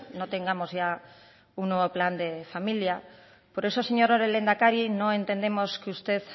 no tengamos ya un nuevo plan de familia por eso señor lehendakari no entendemos que usted